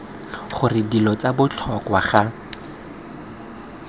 gore dilo tsa botlhokwa ga